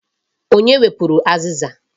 Onye wepụrụ azịza?